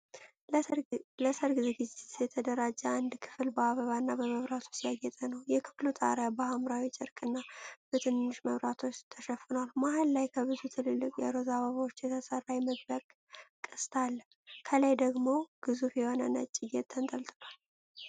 ለሠርግ ዝግጅት የተደራጀ አንድ ክፍል በአበባና በመብራቶች ያጌጠ ነው። የክፍሉ ጣሪያ በሐምራዊ ጨርቅና በትንንሽ መብራቶች ተሸፍኗል። መሃል ላይ፣ ከብዙ ትልልቅ የሮዝ አበባዎች የተሰራ የመግቢያ ቅስት አለ። ከላይ ደግሞ ግዙፍ የሆነ ነጭ ጌጥ ተንጠልጥሏል፡።